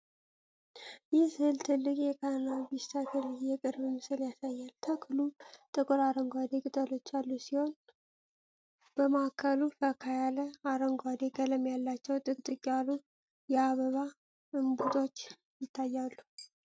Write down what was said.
ይህ ሥዕል ትልቅ የካናቢስ ተክል የቅርብ ምስል ያሳያል። ተክሉ ጥቁር አረንጓዴ ቅጠሎች ያሉት ሲሆን፣ በማዕከሉ ፈካ ያለ አረንጓዴ ቀለም ያላቸው ጥቅጥቅ ያሉ የአበባ እምቡጦች ይታያሉ።